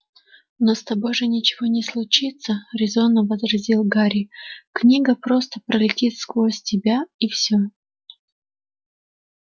но с тобой же ничего не случится резонно возразил гарри книга просто пролетит сквозь тебя и всё